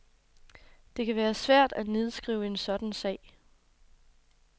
Det kan være svært at nedskrive en sådan sag.